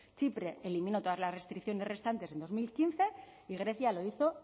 chipre eliminó todas las restricciones restantes en dos mil quince y grecia lo hizo